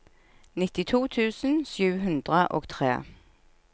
nittito tusen sju hundre og tre